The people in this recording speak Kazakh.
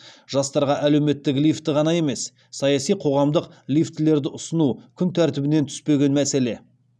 жастарға әлеуметтік лифті ғана емес саяси қоғамдық лифтілерді ұсыну күн тәртібінен түспеген мәселе